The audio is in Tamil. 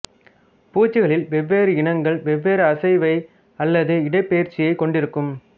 பூச்சிகளில் வெவ்வேறு இனங்கள் வெவ்வேறு அசைவை அல்லது இடப்பெயர்ச்சியைக் கொண்டிருக்கும்